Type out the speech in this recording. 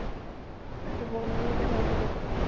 একটা মনের মধ্যে ভয় ঢুকে যায়